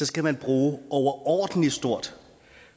skal man bruge et overordentlig stort